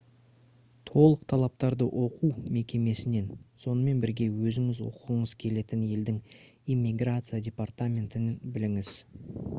толық талаптарды оқу мекемесінен сонымен бірге өзіңіз оқығыңыз келетін елдің иммиграция департаментінен біліңіз